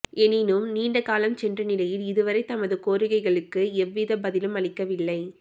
எனினும் நீண்ட காலம் சென்ற நிலையில் இதுவரை தமது கோரிக்கைகளுக்கு எந்தவித பதிலும் அளிக்கவில்லை